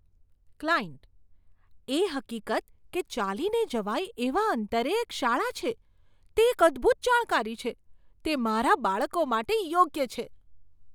Client "એ હકીકત કે ચાલીને જવાય એવા અંતરે એક શાળા છે, તે એક અદ્ભૂત જાણકારી છે. તે મારાં બાળકો માટે યોગ્ય છે."